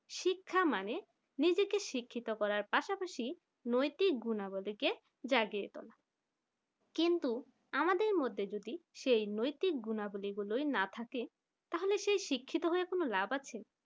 শিক্ষা মানে নিজেকে শিক্ষিত করার পাশাপাশি নৈতিক গুণাবলী কে জাগিয়ে তোলা কিন্তু আমাদের মধ্যে যদি এই নৈতিক গুণাবলী গুলি না থাকে তাহলে সেই শিক্ষিত হয়ে কি কোন লাভ আছে